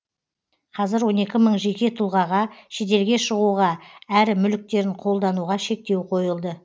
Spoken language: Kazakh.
қазір он екі мың жеке тұлғаға шетелге шығуға әрі мүліктерін қолдануға шектеу қойылды